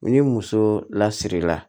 Ni muso lasirila